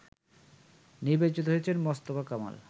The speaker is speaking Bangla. নির্বাচিত হয়েছেন মোস্তফা কামাল